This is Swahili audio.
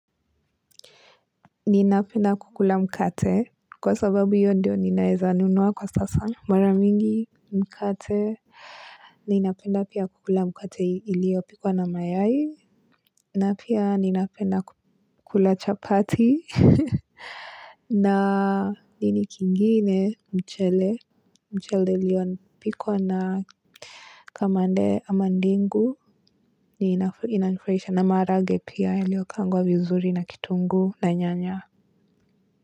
Ninapenda kukula mkate kwa sababu hiyo ndiyo naweza nunua kwa sasa. Mara nyingi mkate ninapenda pia kukula mkate iliyopikwa na mayayi napia napenda kukula chapati. Na nini kingine mchele mchele iliyopikwa na kamande ama ndengu inanifurahisha na maharage pia yaliokaangwa vizuri na kitunguu na nyanya.